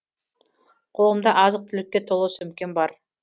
қолымда азық түлікке толы сөмкем бар